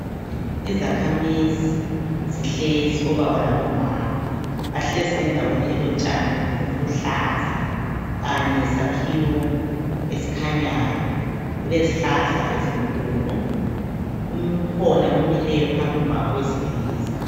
Izakhamizi zihlezi omama labo baba bahlezi endaweni elotshani obuluhlaza kanye lesakhiwo esikhanyayo kulezihlahla ezinkulu ukhona omileyo phambi kwabo owesilisa